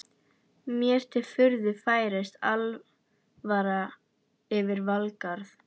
Mér til furðu færist alvara yfir Valgarð.